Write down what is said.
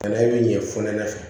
Bana in bɛ ɲɛ fonɛnɛ fɛ